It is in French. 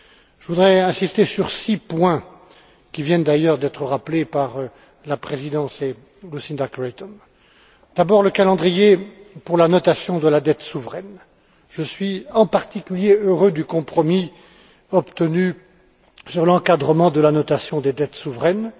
Je voudrais insister sur six points qui viennent, d'ailleurs, d'être rappelés par la présidence et Lucinda Creighton. D'abord, le calendrier pour la notation de la dette souveraine. Je suis, en particulier, heureux du compromis obtenu sur l'encadrement de la notation des dettes souveraines.